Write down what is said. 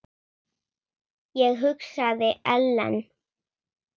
Ég hugsaði: Ellen?